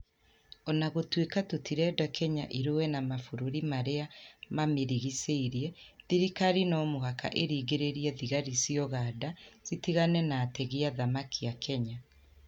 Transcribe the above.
O na gũtuĩka tũtirenda Kenya ĩrũe na mabũrũri marĩa mamĩrigicĩire, thirikari no mũhaka ĩringĩrĩrie thigari cia ũganda citigane na ategi a thamaki a Kenya.